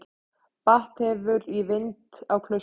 Bætt hefur í vind á Klaustri